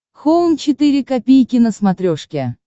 хоум четыре ка на смотрешке